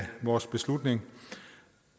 vores beslutning